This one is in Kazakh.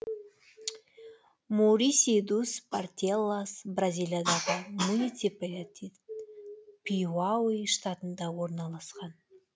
муриси дус портелас бразилиядағы муниципалитет пиауи штатында орналасқан